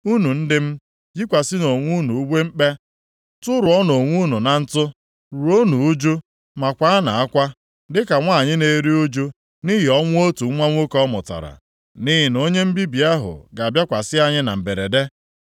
Unu ndị m, yikwasịnụ onwe unu uwe mkpe. Tụrụọnụ onwe unu na ntụ, ruonụ uju, ma kwaanụ akwa, dịka nwanyị na-eru ụjụ nʼihi ọnwụ otu nwa nwoke ọ mụtara. Nʼihi na onye mbibi ahụ ga-abịakwasị anyị na mberede.